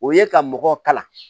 O ye ka mɔgɔw kalan